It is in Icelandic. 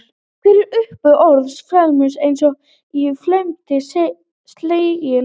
Hver er uppruni orðsins felmtur eins og í felmtri sleginn?